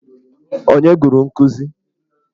Ònye gụrụ nkụzi?